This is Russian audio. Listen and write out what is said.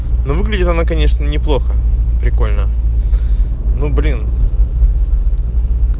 но выглядит она конечно неплохо прикольно ну блин